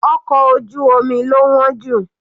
Ọkọ̀ ojú omi lo wọ́n jù.